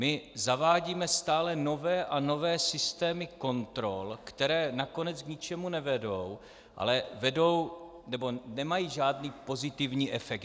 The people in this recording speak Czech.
My zavádíme stále nové a nové systémy kontrol, které nakonec k ničemu nevedou, ale vedou - nebo nemají žádný pozitivní efekt.